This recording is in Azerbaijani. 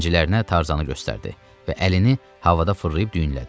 Zəncilərinə Tarzanı göstərdi və əlini havada fırlayıb düyünlədi.